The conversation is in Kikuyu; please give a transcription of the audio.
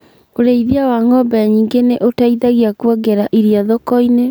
ũrĩithia wa ng'ombe nyingĩ nĩ ũteithagia kuongerera iria thoko-inĩ